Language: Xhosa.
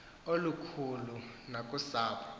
nokhathalelo olukhulu nakusapho